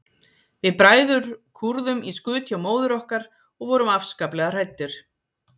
Við bræður kúrðum í skut hjá móður okkar og vorum afskaplega hræddir.